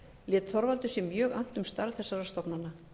lét þorvaldur sér mjög annt um starf þessara stofnana